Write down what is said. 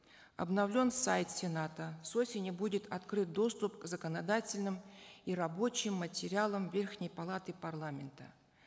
обновлен сайт сената с осени будет открыт доступ к законодательным и рабочим материалам верхней палаты парламента